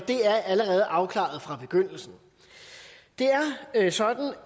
er allerede afklaret fra begyndelsen det er sådan